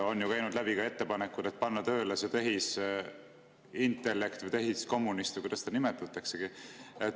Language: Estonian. On ju käinud läbi ka ettepanekud, et panna tööle see tehisintellekt või tehiskommunist või kuidas seda nimetataksegi.